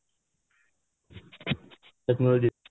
technology